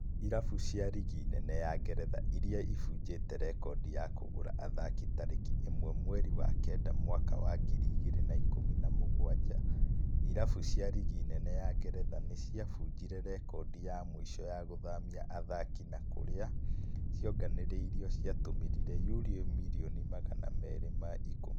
irabu cia rigi nene ya Ngeretha irĩa ibunjĩte rekondi ya kũgũra athaki tarĩki ĩmwe mweri wa kenda mwaka wa ngiri ĩgĩrĩ na ikũmi na mũgwanja irabu cia rigi nene ya Ngeretha nĩ cia bunjire rekodi ya mũico ya gũthamia athaki na kũria cionganĩrĩirio ciatũmĩrire yurũ mirioni magana merĩ ma ikũmi